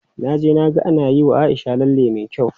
Na je na ga ana yiwa Aisha lalle me kyau.